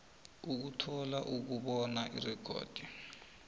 ukuthola ukubona irekhodi